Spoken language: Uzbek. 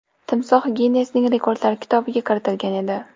Timsoh Ginnesning rekordlar kitobiga kiritilgan edi.